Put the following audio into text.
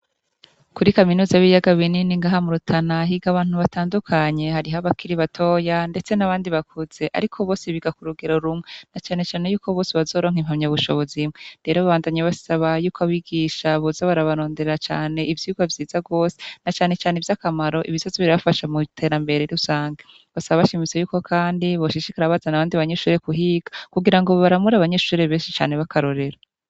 Kuri kaminuza b'iyaga binini ngahamu rutanahiga abantu batandukanye hariho abakiri batoya, ndetse n'abandi bakuze, ariko bose biga ku rugero rumwa na canecane yuko bose bazoronka impamya bushobozaimwe rero babandanyi basaba yuko abigisha boza barabarondera cane ivyugo vyiza rwose na canecane ivy'akamaro ibisazo birbafasha mu terambere rusange basa bashimitso yuko, kandi boshishikara bazana abandi banyishuhre ku higa kugira ngo baramura abanyeshuhre benshi cane bakarorera.